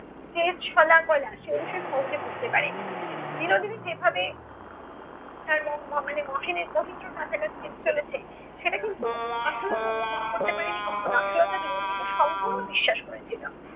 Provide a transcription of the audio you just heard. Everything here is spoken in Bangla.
তেজ শলা-কলা সে বিশেষ সহজে বুঝতে পারে নি। বিনোদিনী যেভাবে তার মানে মহিন মহেন্দ্রর কাছাকাছি যেতে চলেছে সেটা কিন্তু আশুলতা অনুধাবন করতে পারে নি কখনো। আশুলতা বিনোদিনীকে সম্পূর্ণ বিশ্বাস করেছিল।